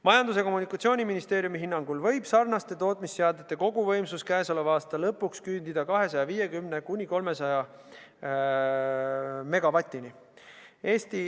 Majandus- ja Kommunikatsiooniministeeriumi hinnangul võib seesuguste tootmisseadmete koguvõimsus käesoleva aasta lõpuks küündida 250–300 megavatini.